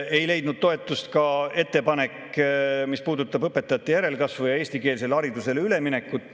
Ei leidnud toetust ka ettepanek, mis puudutab õpetajate järelkasvu ja eestikeelsele haridusele üleminekut.